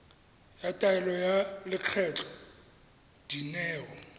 ya taelo ya lekgetho dineo